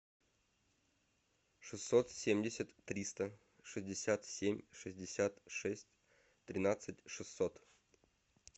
шестьсот семьдесят триста шестьдесят семь шестьдесят шесть тринадцать шестьсот